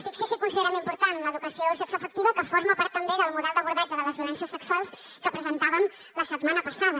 fixi’s si considerem important l’educació sexoafectiva que forma part també del model d’abordatge de les violències sexuals que presentàvem la setmana passada